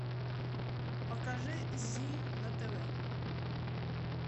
покажи зи на тв